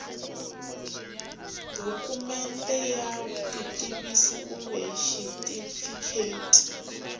dokumende ya vutitivisi kumbe xitifiketi